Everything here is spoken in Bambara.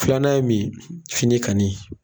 Filanan ye min ye fini kanni.